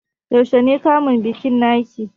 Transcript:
Yaushe ne kamun bikin naki?